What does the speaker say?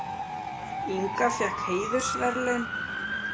Inga fékk heiðursverðlaun